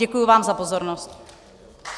Děkuji vám za pozornost.